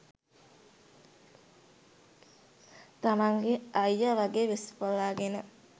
තමන්ගෙ අයිය වගෙ වෙස් වළාගෙන